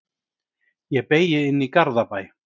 Ég beygi inn í Garðabæ.